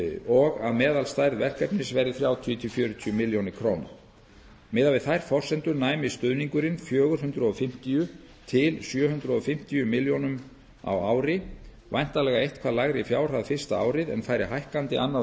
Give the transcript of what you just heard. og að meðalstærð verkefnis verði þrjátíu fjörutíu milljónir króna miðað við þær forsendur næmi stuðningurinn fjögur hundruð fimmtíu til sjö hundruð fimmtíu milljónum á ári væntanlega eitthvað lægri fjárhæð fyrsta árið en færi hækkandi annað